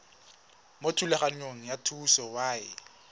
mo thulaganyong ya thuso y